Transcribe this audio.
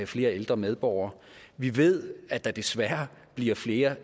flere ældre medborgere vi ved at der desværre bliver flere